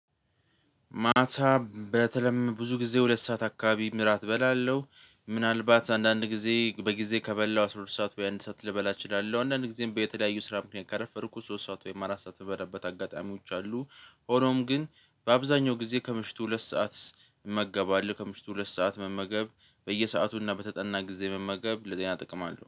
ማታ በተለም ብዙ ጊዜ ሁለት ሰዓት አካባቢ እራት እበላለው ምናልባት አንዳንድ ጊዜ በጊዜ ከበላው አስራ ሁለት ሰዓት ወይ አንድ ሰዓት ልበላ እችላለሁ። አንዳንዴ በተለያዩ ስራ ምክንያት ከረፈድኩት ሶስት ሰዓት ወይም አራት ሰዓት ምበላበት አጋጣሚዎች አሉ። ሆኖም ግን በአብዛኛው ጊዜ ከምሽቱ ሁለት ሰዓት እመገባለህ ከምሽቱ ሁለት ሰዓት መመገብ። በየሰዓቱና በተጠና ጊዜ መመገብ ለጤና ጥቅም አለው